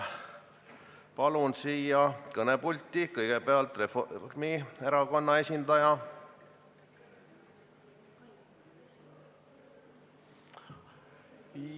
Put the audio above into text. Palun siia kõnepulti kõigepealt Reformierakonna esindaja!